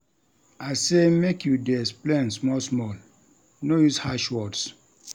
I say make you dey explain small-small, no use harsh words.